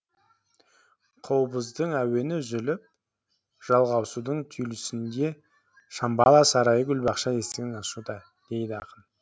қобыздың әуені үзіліп жалғасудың түйілісінде шамбала сарайы гүл бақша есігін ашуда дейді ақын